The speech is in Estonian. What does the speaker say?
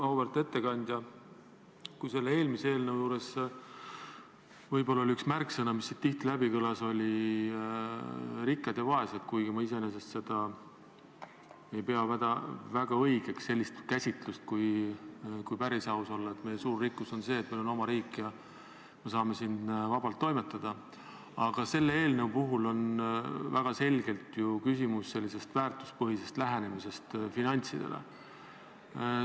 Auväärt ettekandja, kui eelmise eelnõu juures võib-olla üks märksõnu, mis tihti kõlas, olid rikkad ja vaesed , siis selle eelnõu puhul on väga selgelt ju küsimus väärtuspõhises lähenemises finantsidele.